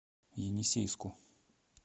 енисейску